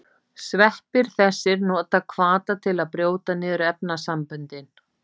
Sveppir þessir nota hvata til að brjóta niður efnasamböndin.